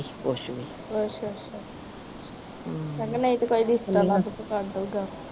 ਅੱਛਾ ਮੈ ਕਿਹਾ ਨਹੀਂ ਤੇ ਕੋਈ ਰਿਸ਼ਤਾ ਲੱਭ ਕੇ ਕਰਦੋ ਗਾ